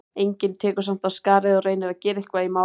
Enginn tekur samt af skarið og reynir að gera eitthvað í málinu.